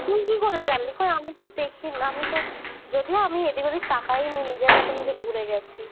কই আমি তো দেখি না আমি তো যদিও আমি এদিক ওদিক তাকাই ও নি নিজের মতন ঘুরে গেছি